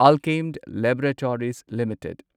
Alkem laboratories limited